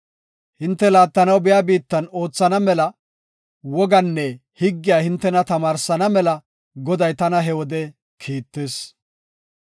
Hinte laattanaw biya biittan oothana mela wogaanne higgiya hintena tamaarsana mela Goday tana he wode kiittis.